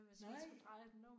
Nej